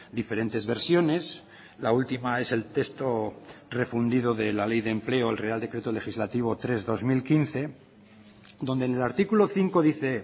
diferentes versiones la última es el texto refundido de la ley de empleo el real decreto legislativo tres barra dos mil quince donde en el artículo cinco dice